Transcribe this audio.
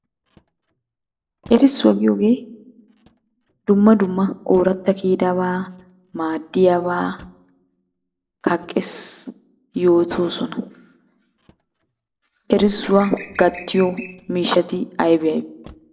Erissuwaa giyogee dumma dumma ooratta kiyidabaa maadiyabaa kaqqees, yoottoosona. Erssuwa gattiyo miishshati aybee aybee?